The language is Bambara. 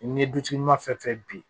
N'i ye dutigi ma fɛn fɛn bin